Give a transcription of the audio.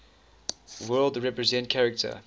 world represent character